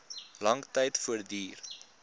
lang tyd voortduur